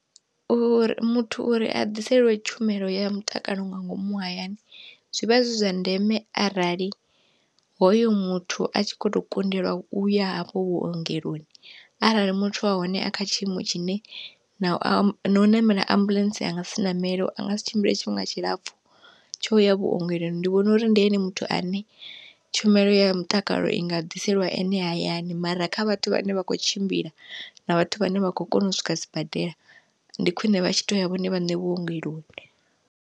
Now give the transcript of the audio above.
Uri muthu uri a ḓiseliwe tshumelo ya mutakalo nga ngomu hayani zwivha zwi zwa ndeme arali hoyo muthu a tshi kho to kundeliwa uya hafho vhuongeloni, arali muthu wa hone a kha tshiimo tshine na u ṋamela ambuḽentse a nga si ṋamele a nga si tshimbile tshifhinga tshilapfhu tsho ya vhuongeloni, ndi vhona uri ndi ene muthu ane tshumelo ya mutakalo i nga ḓiseliwa ene hayani mara kha vhathu vhane vha kho tshimbila na vhathu vhane vha kho kona u swika sibadela, ndi khwine vha tshi to ya vhone vhaṋe vhuongeloni.